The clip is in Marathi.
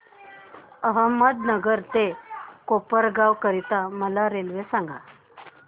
अहमदनगर ते कोपरगाव करीता मला रेल्वे सांगा